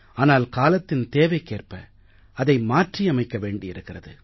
ஆனால் காலத்தின் தேவைக்கேற்ப அதை மாற்றியமைக்க வேண்டியிருக்கிறது